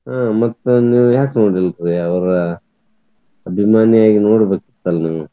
ಹ್ಮ್ ಮತ್ ನಿವ್ಯಾಕ್ ನೋಡಿಲ್ರಿ ಅವರ ಅಭಿಮಾನಿಯಾಗಿ ನೋಡಬೇಕಿತ್ತಲ್ ನೀವ್?